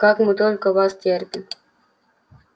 как мы только вас терпим